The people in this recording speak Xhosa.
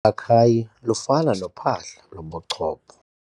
Ukhakayi lufana nophahla lobuchopho.